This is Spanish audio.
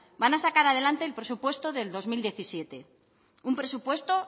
van a sacar adelante el presupuesto de dos mil diecisiete un presupuesto